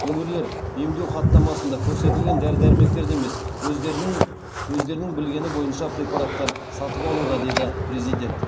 өңірлер емдеу хаттамасында көрсетілген дәрі дәрмектерді емес өздерінің білгені бойынша препараттар сатып алуда деді президент